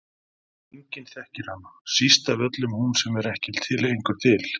Enginn þekkir hana, síst af öllum hún sem er ekki lengur til.